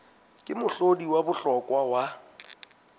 ke mohlodi wa bohlokwa wa